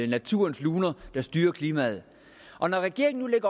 naturens luner der styrer klimaet og når regeringen